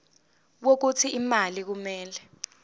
wokuthi imali kumele